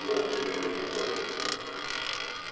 волки шли очень осторожно